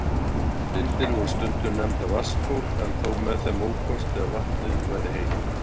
Heitar lindir voru stundum nefndar vatnsból, en þó með þeim ókosti að vatnið væri heitt.